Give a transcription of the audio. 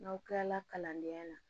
N'aw kilala kalandenya la